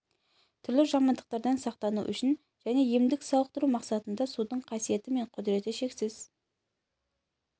түрлі жамандықтардан сақтану үшін және емдік-сауықтыру мақсатында судың қасиеті мен құдіреті шексіз